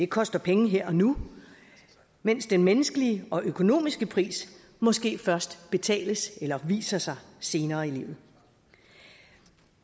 koster penge her og nu mens den menneskelige og økonomiske pris måske først betales eller viser sig senere i livet